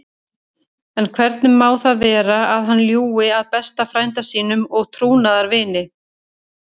En hvernig má það vera að hann ljúgi að besta frænda sínum og trúnaðarvini?